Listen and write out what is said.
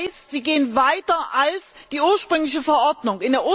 Das heißt, Sie gehen weiter als die ursprüngliche Verordnung.